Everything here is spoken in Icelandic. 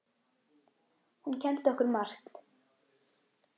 Hún kenndi okkur margt.